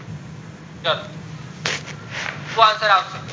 ચલો શું answer આવશે